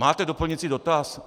Máte doplňující dotaz?